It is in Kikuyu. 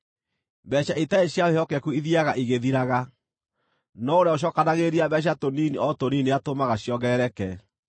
Mbeeca itarĩ cia wĩhokeku ithiiaga igĩthiraga, no ũrĩa ũcookanagĩrĩria mbeeca tũnini o tũnini nĩatũmaga ciongerereke.